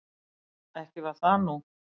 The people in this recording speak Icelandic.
Ekki var það nú.